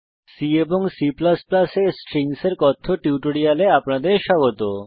C এবং C এ strings এর কথ্য টিউটোরিয়ালে আপনাদের স্বাগত